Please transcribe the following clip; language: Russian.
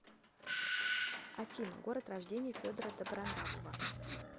афина город рождения федора добронравова